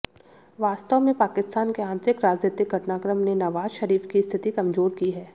वास्तव में पाकिस्तान के आतंरिक राजनीतिक घटनाक्रम ने नवाज शरीफ की स्थिति कमजोर की है